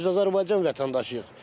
Biz Azərbaycan vətəndaşıyıq.